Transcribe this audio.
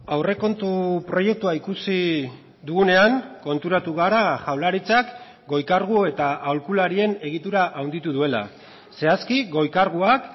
aurrekontu proiektua ikusi dugunean konturatu gara jaurlaritzak goi kargu eta aholkularien egitura handitu duela zehazki goi karguak